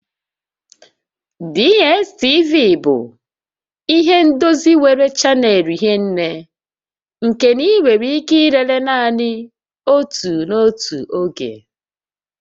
DSTV bụ ihe ndozi nwere chanel hie nné nke na ị nwere ike ilele naanị otu n'otu oge